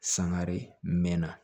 Sangare mɛnna